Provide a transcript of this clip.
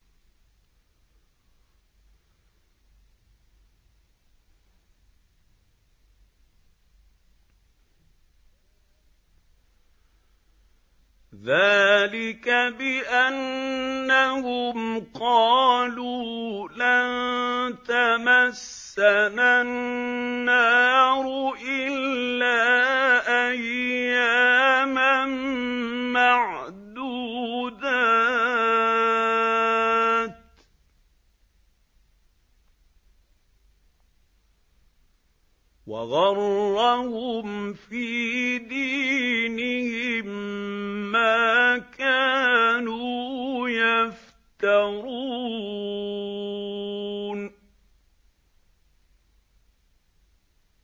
ذَٰلِكَ بِأَنَّهُمْ قَالُوا لَن تَمَسَّنَا النَّارُ إِلَّا أَيَّامًا مَّعْدُودَاتٍ ۖ وَغَرَّهُمْ فِي دِينِهِم مَّا كَانُوا يَفْتَرُونَ